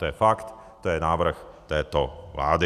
To je fakt, to je návrh této vlády.